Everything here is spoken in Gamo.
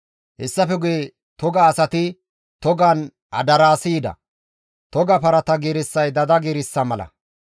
Hessafe guye toga asati togan adaraasi yida. Toga parata giirissay dada giirissa mala.